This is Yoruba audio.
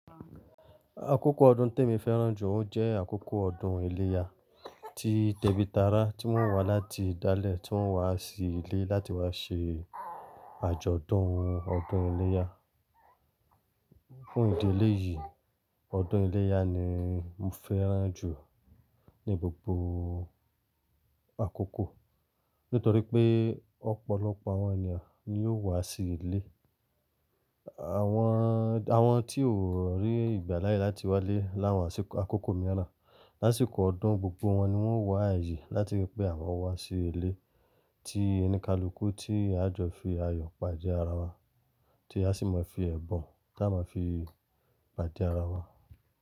Àkókò ọdún te mi fẹ́ràn jù ó jẹ́ àkókò ọdún iléyá, tí tẹ́bì tará tí wọ́n wá láti ìdálẹ̀ tí wọ́n wá sí ilé láti wá ṣe àjọ̀dún ọdún iléyá. Fún ìdí eléyìí, ọdún iléyá ni mo fẹ́ràn jù ní gbogbo àkókò. Nítorí pé ọ̀pọ̀lọpọ̀ àwọn ènìyàn ni yóò wá sí ilé. Àwọn, àwọn tí ó rí ìgbà láyé láti wá lé láwọn àṣìkò àkókò mìíràn, lásìkò ọdún gbogbo wọn ni wọ́n wá àyè láti rí pé àwọn wá sí ilé tí oni kalù kú tí a jọọ fi ayọ̀ pàdé ara wa tí a sì máa fi ẹ̀bùn kí a máa fi pàdé ara wa.